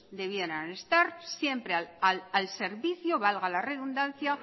debieran estar siempre al servicio valga la redundancia